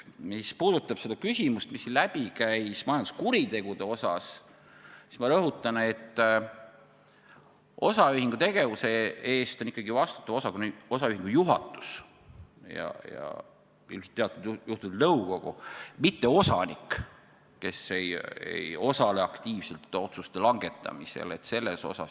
Mis puudutab seda küsimust, mis siin läbi käis majanduskuritegudest rääkides, siis ma rõhutan, et osaühingu tegevuse eest on ikkagi vastutav osaühingu juhatus ja ilmselt teatud juhtudel nõukogu, mitte osanik, kes ei osale aktiivselt otsuste langetamisel.